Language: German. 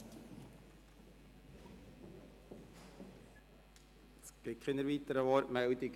Es gibt keine weiteren Wortmeldungen.